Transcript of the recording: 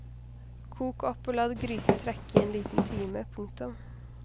Kok opp og la gryten trekke i en liten time. punktum